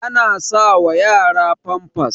ana sawa yara famfas